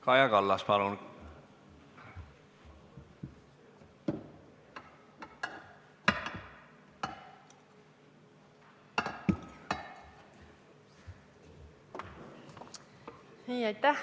Kaja Kallas, palun!